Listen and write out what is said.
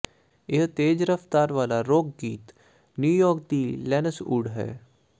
ਇਹ ਤੇਜ਼ ਰਫ਼ਤਾਰ ਵਾਲਾ ਰੌਕ ਗੀਤ ਨਿਊਯਾਰਕ ਦੀ ਲੈਨਨਸ ਓਡ ਹੈ